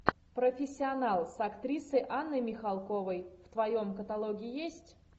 профессионал с актрисой анной михалковой в твоем каталоге есть